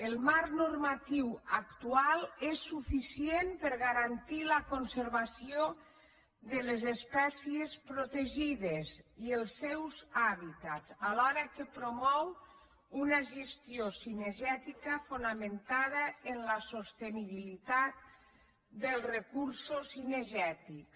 el marc normatiu actual és suficient per garantir la conservació de les espècies protegides i els seus hà·bitats alhora que promou una gestió cinegètica fona·mentada en la sostenibilitat dels recursos cinegètics